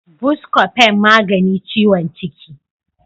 Buscofen magani ciwon ciki.